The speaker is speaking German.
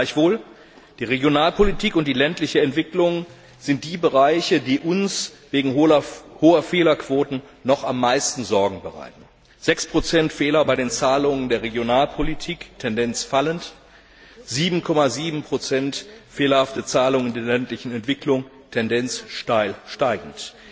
Gleichwohl, die Regionalpolitik und die ländliche Entwicklung sind die Bereiche, die uns wegen hoher Fehlerquoten noch am meisten Sorgen bereiten 6 Fehler bei den Zahlungen der Regionalpolitik, Tendenz fallend, 7,7 fehlerhafte Zahlungen in der ländlichen Entwicklung, Tendenz steil steigend.